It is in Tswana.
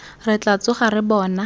re tla tsoga re bona